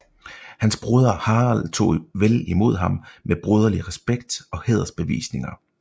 Hans broder Harald tog vel imod ham med broderlig respekt og hædersbevisninger